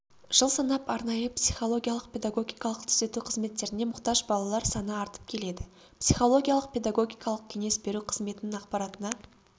жыл санап арнайы психологиялық-педагогикалық түзету қызметтеріне мұқтаж балалар саны артып келеді психологиялық-педагогикалық кеңес беру қызметінің ақпаратына